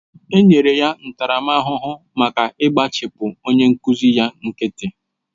Enyere ya ntaramahụhụ maka igbachipu onye nkụzi ya nkịtị